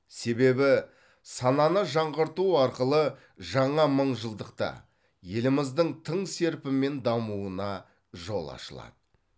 себебі сананы жаңғырту арқылы жаңа мыңжылдықта еліміздің тың серпінмен дамуына жол ашылады